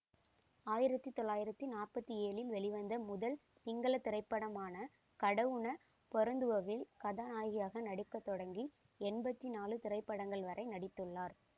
ஆயிரத்தி தொள்ளாயிரத்தி நாற்பத்தி ஏழில் வெளிவந்த முதல் சிங்கள திரைப்படமான கடவுன பொறந்துவ வில் கதாநாயகியாக நடிக்க தொடங்கி எம்பத்தி நாழு திரைப்படங்கள் வரை நடித்துள்ளார்